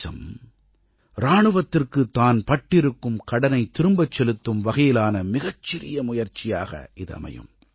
தேசம் இராணுவத்திற்கு தான் பட்டிருக்கும் கடனைத் திரும்பச் செலுத்தும் வகையிலான மிகச் சிறிய முயற்சியாக இது அமையும்